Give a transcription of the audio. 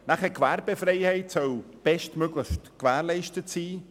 Die Gewerbefreiheit soll bestmöglich gewährleistet sein.